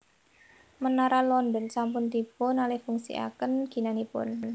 Menara London sampun dipunalihfungsiaken ginanipun